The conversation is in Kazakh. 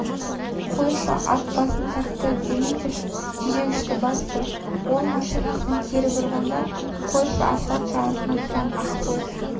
қойшы ат басын тартты дементьев тежегішті басты ол машинасын кері бұрғанда қойшы асфальт жағасында тұрған ақбоз